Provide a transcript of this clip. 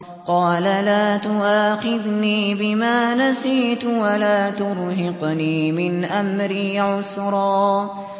قَالَ لَا تُؤَاخِذْنِي بِمَا نَسِيتُ وَلَا تُرْهِقْنِي مِنْ أَمْرِي عُسْرًا